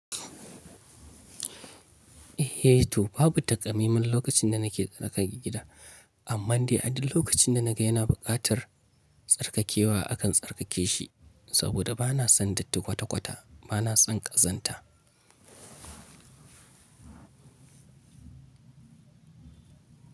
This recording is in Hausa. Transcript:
Eh to babu taka mai man lokacin da nake tsarkake gida, amma dai a duk lokacin da naga yana buƙatar tsarkakewa akan tsarkake shi. Saboda bana son datti kwata-kwata, bana son ƙazanta.